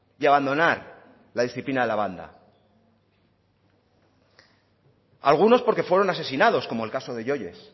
y abandonar la disciplina de la banda algunos porque fueron asesinados como el caso de yoyes